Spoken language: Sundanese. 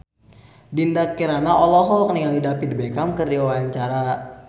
Dinda Kirana olohok ningali David Beckham keur diwawancara